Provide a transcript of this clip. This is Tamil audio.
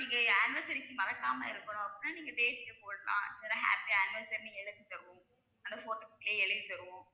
அப்புறம் நீங்க anniversaries மறக்காம இருக்கணும் அப்படின்னா நீங்க போடலாம் இல்லனா happy anniversary ன்னு எழுதிதருவோம். அந்த photos குள்ளையே எழுதித்தருவோம்.